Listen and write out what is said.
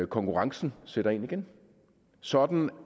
konkurrencen sætter ind igen sådan